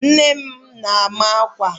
Nne m ma-akwa